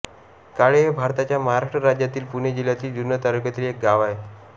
काळे हे भारताच्या महाराष्ट्र राज्यातील पुणे जिल्ह्यातील जुन्नर तालुक्यातील एक गाव आहे